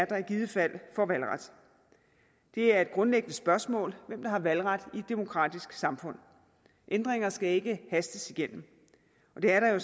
der i givet fald får valgret det er et grundlæggende spørgsmål hvem der har valgret i et demokratisk samfund ændringer skal ikke hastes igennem og det er der jo